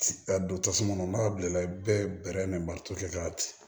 Ka don tasuma kɔnɔ n'a bilenna i bɛ bɛrɛ ni mali ka ci